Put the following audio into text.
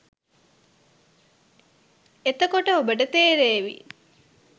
එතකොට ඔබට තේරේවි